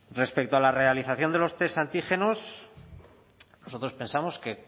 respecto a la realización de los test antígenos nosotros pensamos que